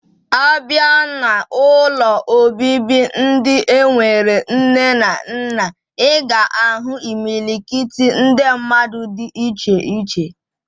Abia na ụlọ obibi ndi enwere nne na nna, iga ahu imilikiti ndi mmadu di iche iche.